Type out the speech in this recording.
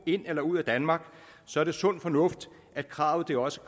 ind i eller ud af danmark så er det sund fornuft at kravet også